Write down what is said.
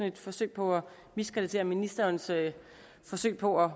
et forsøg på at miskreditere ministerens forsøg på at